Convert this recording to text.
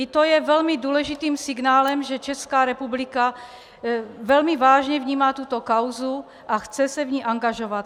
I to je velmi důležitým signálem, že Česká republika velmi vážně vnímá tuto kauzu a chce se v ní angažovat.